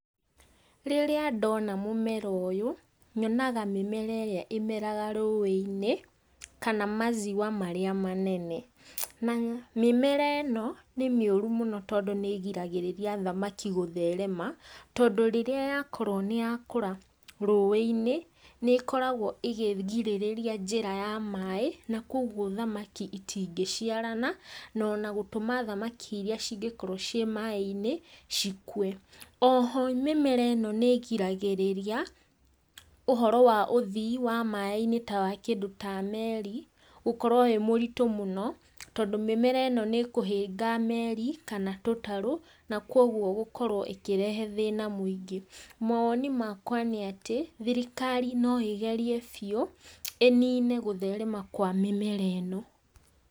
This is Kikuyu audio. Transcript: Rĩrĩa ndona mũmera ũyũ, nyonaga mĩmera ĩrĩa ĩmeraga rũĩ-inĩ, kana maziwa marĩa manene. Na mĩmera ĩno nĩ mĩuru mũno tondũ nĩ ĩgiragĩrĩria thamaki gũtherema, tondũ rĩrĩa yakorwo nĩ yakũra rũĩ-inĩ, nĩ ĩkoragwo ĩkĩrigĩrĩria njĩra ya maĩ na kogwo thamaki itingĩciarana, na ona gũtũma thamaki iria cingĩkorwo ciĩ maĩ-inĩ cikue. Oho mĩmera ĩno nĩ igiragĩrĩria ũhoro wa ũthii wa maĩ-inĩ wa kĩndũ ta meri gũkorwo wĩ mũritũ mũno, tondũ mĩmera ĩno nĩ ĩkũhĩnga meri kana tũtarũ, na kogwo gũkorwo ĩkĩrehe thĩna mũingĩ. Mawoni makwa nĩ atĩ, thirikari no ĩgerie biũ, ĩnine gũtherema kwa mĩmera ĩno.